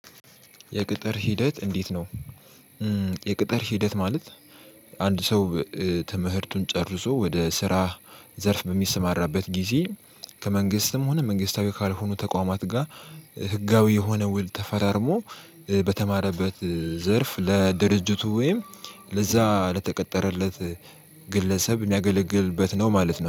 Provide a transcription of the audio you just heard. የቅጥር ሂደት እንዴት ነው? የቅጥር ሂደት ማለት አንድ ሰው ትምህርቱን ጨርሶ ወደ ስራ ዘርፍ በሚሰማራበት ጊዜ ከመንግስትም ሆነ መንግስታዊ ካልሆኑ ተቋማት ጋር። ህጋዊ የሆነ ውል ተፈራርሞ በተማረበት ዘርፍ ለድርጅቱ ወይም ለዛ ለተቀጠረለት ግለሰብ የሚያገለግልበት ነው። ማለት ነው